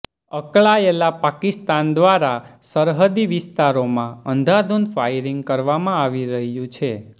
અકળાયેલા પાકિસ્તાન દ્વારા સરહદી વિસ્તારોમાં અંધાધૂંધ ફાયરિંગ કરવામાં આવી રહ્યું છે